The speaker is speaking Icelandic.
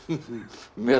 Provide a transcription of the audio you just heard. með